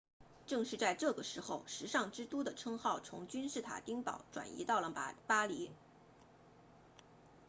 正是在这个时候时尚之都的称号从君士坦丁堡转移到了巴黎